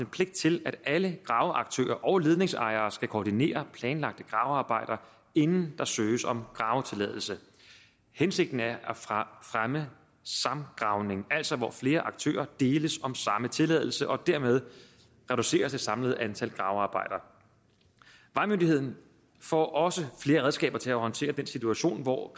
pligt til at alle graveaktører og ledningsejere skal koordinere planlagte gravearbejder inden der søges om gravetilladelse hensigten er at fremme samgravning altså hvor flere aktører deles om samme tilladelse og dermed reducere det samlede antal gravearbejder vejmyndigheden får også flere redskaber til at håndtere den situation hvor